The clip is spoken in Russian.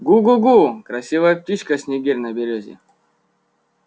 гу-гу-гу красивая птичка снегирь на берёзе